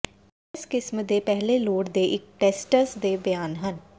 ਇਸ ਕਿਸਮ ਦੇ ਪਹਿਲੇ ਲੋੜ ਦੇ ਇਕ ਟੈਸੀਟਸ ਦੇ ਬਿਆਨ ਹਨ